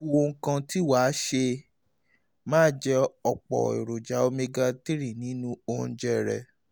ó ku ohun kan tí wà á ṣe: máa jẹ ọ̀pọ̀ èròjà omega-3 nínú oúnjẹ rẹ